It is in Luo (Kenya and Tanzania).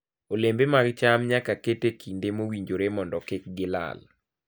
Olembe mag cham nyaka ket e kinde mowinjore mondo kik gilal.